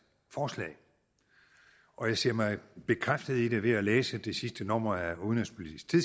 forslag og jeg ser mig bekræftet i det ved at læse det sidste nummer af udenrigs